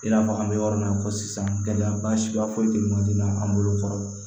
I n'a fɔ an bɛ yɔrɔ min na i ko sisan gɛlɛya ba siya foyi tɛ man di n bolo kɔrɔ